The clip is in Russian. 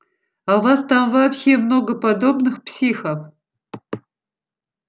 а у вас там вообще много подобных психов